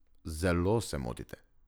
Zelo se motite.